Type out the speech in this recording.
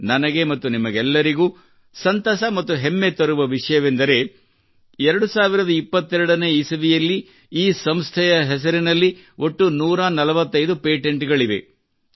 ನನಗೆ ಮತ್ತು ನಿಮಗೆಲ್ಲರಿಗೂ ಸಂತಸ ಮತ್ತು ಹೆಮ್ಮೆ ತರುವ ವಿಷಯವೆಂದರೆ 2022 ನೇ ಇಸವಿಯಲ್ಲಿ ಈ ಸಂಸ್ಥೆಯ ಹೆಸರಿನಲ್ಲಿ ಒಟ್ಟು 145 ಪೇಟೆಂಟ್ ಗಳಿವೆ